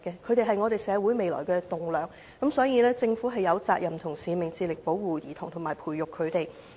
他們是社會未來的棟樑，所以政府有責任和使命致力保護及培育兒童。